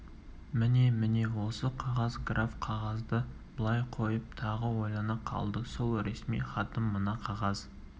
міне міне осы қағаз граф қағазды былай қойып тағы ойлана қалды сол ресми хатым мына қағаз